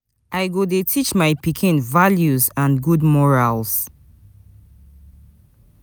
I go dey teach my pikin values and good morals.